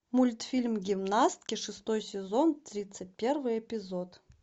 мультфильм гимнастки шестой сезон тридцать первый эпизод